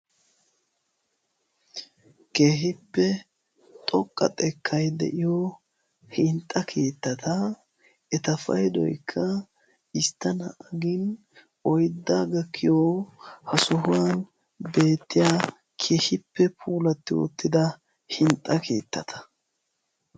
keehippe xoqqa xekkai de'iyo hinxxa kiittata eta paydoykka istta naa''a gin oyddaa gakkiya ha sohuwan beettiya keehippe puulatti oottida hinxxa kiittata